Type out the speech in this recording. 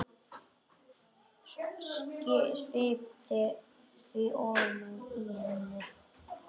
Sviptir því ofan af henni.